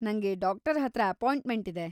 ನಂಗೆ ಡಾಕ್ಟರ್‌ ಹತ್ರ ಅಪಾಯಿಂಟ್ಮೆಂಟ್‌ ಇದೆ.